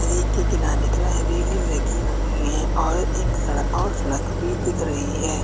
नदी के किनारे किनारे रेलिंग लगी हुई है और एक सड़ और सड़क भी दिख रही है।